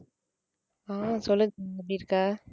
அஹ் சொல்லு எப்படி இருக்க?